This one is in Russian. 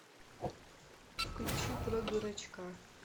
включи про дурачка